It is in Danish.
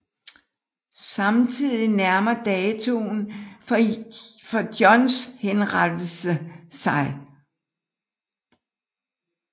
Samtidig nærmer datoen for Johns henrettelse sig